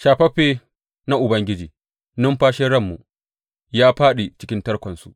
Shafaffe na Ubangiji, numfashin ranmu, ya fāɗi cikin tarkonsu.